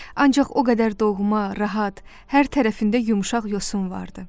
Ancaq o qədər doğma, rahat, hər tərəfində yumşaq yosun vardı.